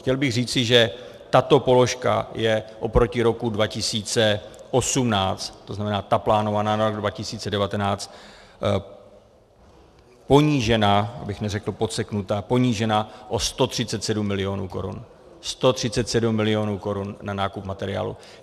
Chtěl bych říci, že tato položka je oproti roku 2018, to znamená ta plánovaná na rok 2019, ponížena, abych neřekl podseknuta, ponížena o 137 milionů korun, 137 milionů korun na nákup materiálu.